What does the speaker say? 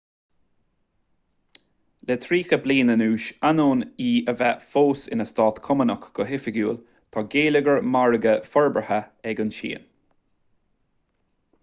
le tríocha bliain anuas ainneoin í a bheith fós ina stát cumannach go hoifigiúil tá geilleagar margaidh forbartha ag an tsín